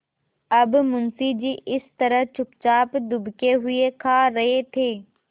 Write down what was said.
अब मुंशी जी इस तरह चुपचाप दुबके हुए खा रहे थे